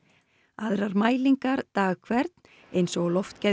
aðrar mælingar dag hvern eins og á loftgæðum